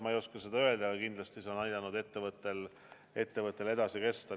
Ma ei oska seda öelda, aga kindlasti see on aidanud ettevõttel edasi kesta.